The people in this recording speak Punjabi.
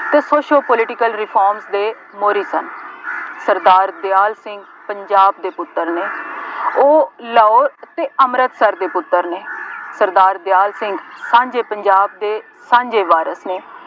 ਅਤੇ ਕੁੱਛ ਉਹ political reforms ਦੇ ਮੋਹਰੀ ਸਨ। ਸਰਦਾਰ ਦਿਆਲ ਸਿੰਘ ਪੰਜਾਬ ਦੇ ਪੁੱਤਰ ਨਹੀਂ, ਉਹ ਲਾਹੌਰ ਅਤੇ ਅੰਮ੍ਰਿਤਸਰ ਦੇ ਪੁੱਤਰ ਨੇ, ਸਰਦਾਰ ਦਿਆਲ ਸਿੰਘ ਸਾਂਝੇ ਪੰਜਾਬ ਦੇ ਸਾਂਝੇ ਵਾਰਿਸ ਨੇ,